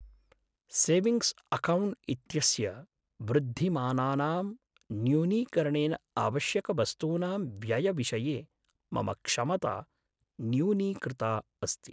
Savings account इत्यस्य वृद्धिमानानां न्यूनीकरणेन आवश्यकवस्तूनां व्ययविषये मम क्षमता न्यूनीकृता अस्ति।